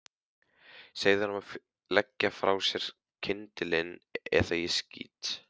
Segðu honum að leggja frá sér kyndilinn eða ég skýt.